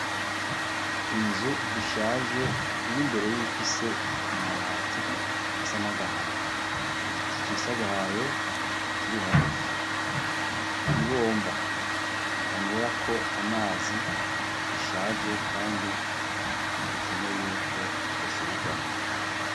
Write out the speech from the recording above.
Inzu ishaje iri mbere yifise amabati asa nagahama igiti cisagahaye kiri hagufi ibomba banywerako amazi rishaje, kandi rikenewe yuko rosubirwamwo.